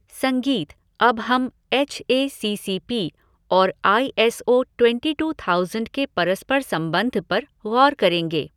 संगीत अब हम H A C C P और I S O twenty two thousand के परस्पर संबंध पर गौर करेंगे।